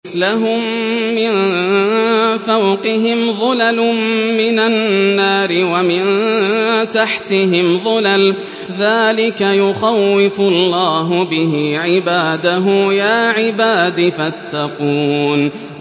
لَهُم مِّن فَوْقِهِمْ ظُلَلٌ مِّنَ النَّارِ وَمِن تَحْتِهِمْ ظُلَلٌ ۚ ذَٰلِكَ يُخَوِّفُ اللَّهُ بِهِ عِبَادَهُ ۚ يَا عِبَادِ فَاتَّقُونِ